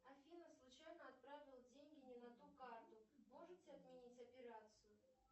афина случайно отправил деньги не на ту карту можете отменить операцию